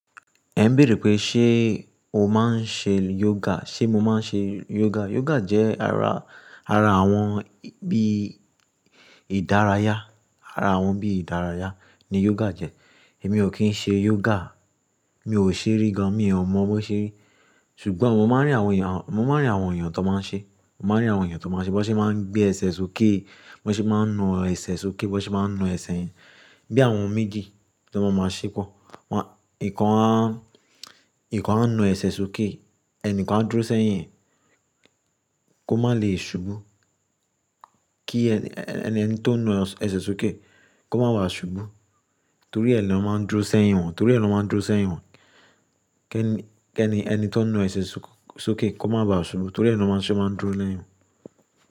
Ẹ ń bèèrè pé ṣé o máa ń ṣe yoga? Ṣé mo máa ń ṣe yoga? Yoga jẹ́ ara, ara àwọn bí ìdárayá. Ara àwọn bí ìdárayá ni yoga jẹ́. Èmi ò kí ń ṣe yoga. Mi ò ṣe rí gan, mi ò mọ bó ṣe rí. Ṣùgbọ́n mọ máa ń rí àwọn èèyàn, mọ máa ń rí àwọn èèyàn tó máa ń ṣe. Mọ máa ń rí àwọn èèyàn tó máa ń ṣe. Bọ́ ṣe máa ń gbé ẹsẹ sókè. Bọ́ ṣe máa ń na ẹsẹ sókè. Bọ́ ṣe máa ń na ẹsẹ̀ yẹn. Bí àwọn méjì tó máa máa ṣépọ̀. Wọ́n, ìkan, ìkan ń nu ẹsẹ sókè, ẹ̀ní kan dúró sẹ́yìn kó má lè ṣubú. Kí ẹni tó ń na ẹsẹ sókè kó má ba ṣubú torí ẹni ló máa ń dúró sẹ́yìn wọn. Torí ẹni ló máa ń dúró sẹ́yìn wọn. Kí ẹni tó ń nu ẹsẹ sókè kó má ba ṣubú torí ẹni wọ́n sì máa ń dúró lẹ́yìn wọn.